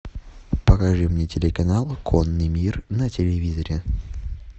покажи мне телеканал конный мир на телевизоре